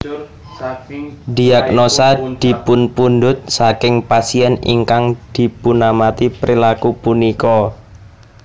Diagnosa dipunpundut saking pasien ingkang dipunamati perilaku punika